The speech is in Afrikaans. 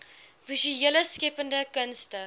visuele skeppende kunste